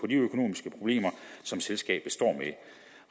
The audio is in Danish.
de økonomiske problemer som selskabet står med